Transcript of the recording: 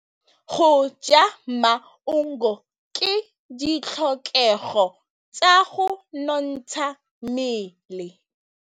Go ja maungo ke ditlhokegô tsa go nontsha mmele.